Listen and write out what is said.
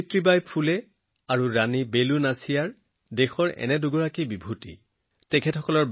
সাবিত্ৰী বাই ফুলেজী আৰু ৰাণী বেলু নাচিয়াৰ্জী দেশৰ এনে দুগৰাকী মহান কন্যা